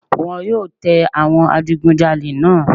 Wọ́n yóò tẹ àwọn adigunjalè náà